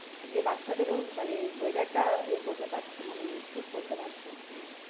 যে বাচ্চাদের ও মানে weather টা এ করতে পারছে না মানে suit করতে পারছে না।